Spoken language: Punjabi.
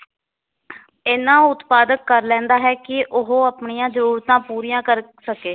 ਇੰਨਾ ਉਤਪਾਦਕ ਕਰ ਲੈਂਦਾ ਹੈ ਕਿ ਉਹ ਆਪਣੀਆਂ ਜਰੂਰਤਾਂ ਪੂਰੀਆਂ ਕਰ ਸਕੇ।